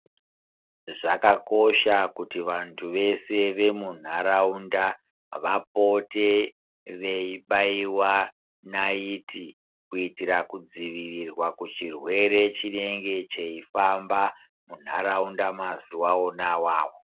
Zvakakosha kuti vantu veshe vemunharawunda vapote veyibhayiwa nayithi kuitira kudzivirirwa kuchirwere chinenge cheyifamba munharawunda mazuva wona wawo.